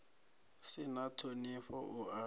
si na ṱhonifho u a